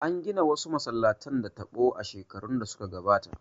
An gina wasu masallatan da taɓo a shekarun da suka gabata